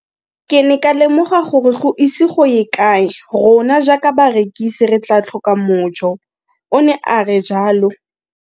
Ke ne ka lemoga gore go ise go ye kae rona jaaka barekise re tla tlhoka mojo, o ne a re jalo.